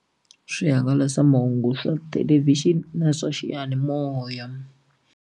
Swihangalasamahungu swa thelevixini na swa xiyanimoya.